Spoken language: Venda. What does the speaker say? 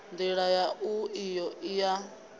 ndila yau iyo i ya